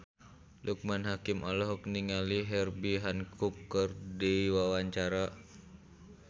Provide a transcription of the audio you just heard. Loekman Hakim olohok ningali Herbie Hancock keur diwawancara